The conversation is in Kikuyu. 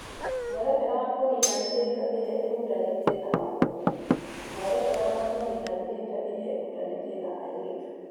Mwerekera wa kũniina mĩhĩnga ĩrĩa ĩhutanĩtie na mabũrũri, mwerekera wa kũniina mĩhĩnga ĩrĩa ĩhutanĩtie na airĩtu